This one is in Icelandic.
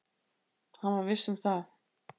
Hann var viss um það.